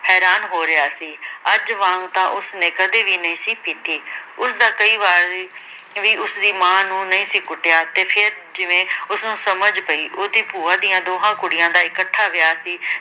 ਹੈਰਾਨ ਹੋ ਰਿਹਾ ਸੀ। ਅੱਜ ਵਾਂਗ ਤਾਂ ਉਸਨੇ ਕਦੇ ਵੀ ਨਹੀਂ ਸੀ ਪੀਤੀ ਉਸ ਤਾਂ ਕਦੀ ਵਾਰੀ ਵੀ ਉਸਦੀ ਮਾਂ ਨੂੰ ਨਹੀਂ ਸੀ ਕੁੱਟਿਆ। ਤੇ ਫ਼ਿਰ ਜਿਵੇਂ ਉਸਨੂੰ ਸਮਝ ਪਈ। ਉਹਦੀ ਭੂਆ ਦੀਆਂ ਦੋਹਾਂ ਕੁੜੀਆਂ ਦਾ ਇਕੱਠਾ ਵਿਆਹ ਸੀ